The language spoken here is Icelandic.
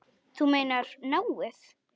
Þú meinar náið?